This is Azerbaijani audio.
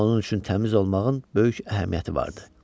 Onun üçün təmiz olmağın böyük əhəmiyyəti vardı.